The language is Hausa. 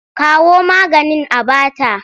Kawo maganin a ba ta!